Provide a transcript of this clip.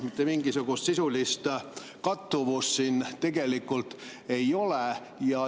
Mitte mingisugust sisulist kattuvust tegelikult ei ole.